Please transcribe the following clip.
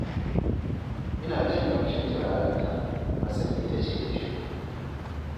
Ina jin ƙamshin turarenta, na san ita ce ta shigo